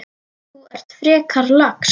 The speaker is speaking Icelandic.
Þú ert frekar lax.